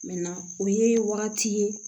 o ye wagati ye